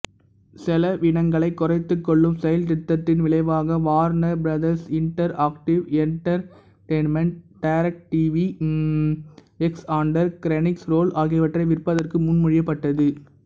செலவினங்களைக் குறைத்துக்கொள்ளும் செயல் திட்டத்தின் விளைவாக Warner Brothers Interactive Entertainment DirecTV Xandr Crunchyroll ஆகியவற்றை விற்பதற்கு முன்மொழியப்பட்டது